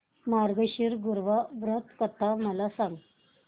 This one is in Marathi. मार्गशीर्ष गुरुवार व्रत कथा मला सांग